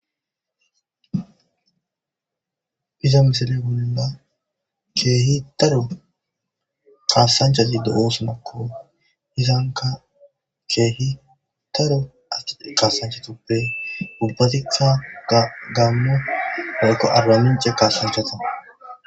Iza misile bolla keehi daro kaasanchazi do'osonakko. Hizanka keehi daro kasanchatuppe ubbatikka gammo woykko arbamince kaasanchaa.